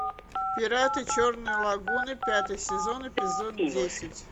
пираты черной лагуны пятый сезон эпизод десять